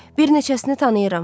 Bir neçəsini tanıyıram.